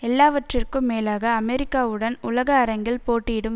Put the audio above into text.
எல்லாவற்றிற்கும் மேலாக அமெரிக்காவுடன் உலக அரங்கில் போட்டியிடும்